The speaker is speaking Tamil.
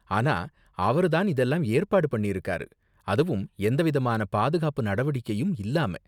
ஆனா அவரு தான் இதெல்லாம் ஏற்பாடு பண்ணிருக்காரு, அதுவும் எந்த விதமான பாதுகாப்பு நடவடிக்கையும் இல்லாம.